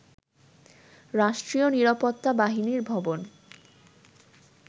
রাষ্ট্রীয় নিরাপত্তা বাহিনীর ভবন